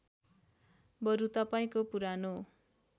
बरु तपाईँको पुरानो